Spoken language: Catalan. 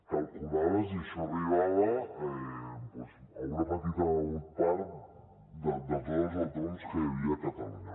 calculaves i això arribava a una petita part de tots els autònoms que hi havia a catalunya